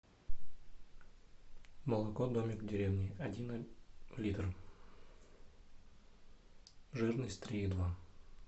молоко домик в деревне один литр жирность три и два